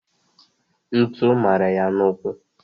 Ntu mara ya n'ụkwụ